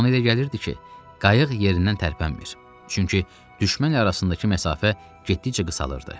Amma ona elə gəlirdi ki, qayıq yerindən tərpənmir, çünki düşmən ilə arasındakı məsafə getdikcə qısalırdı.